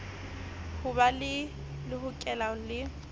ho be le lehokela le